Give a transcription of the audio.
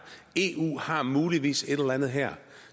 og har muligvis et eller andet her